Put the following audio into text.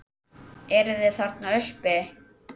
Eruð þið þarna uppi!